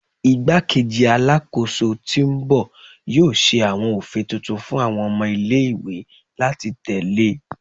Igbakeji Alakoso ti o n bọ yoo ṣe awọn ofin tuntun fun awọn ọmọ ile-iwe lati tẹle